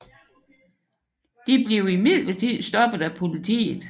De blev imidlertid stoppet af politiet